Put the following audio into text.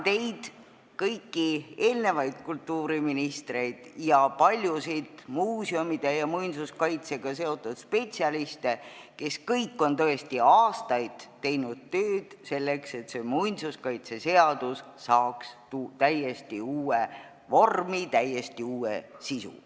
Tänan kõiki eelnevaid kultuuriministreid ning paljusid muuseumide ja muinsuskaitsega seotud spetsialiste, kes kõik on aastaid teinud tööd selleks, et muinsuskaitseseadus saaks täiesti uue vormi ja sisu.